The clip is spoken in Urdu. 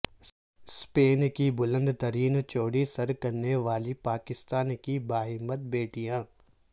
سپین کی بلند ترین چوٹی سر کرنے والی پاکستان کی باہمت بیٹیاں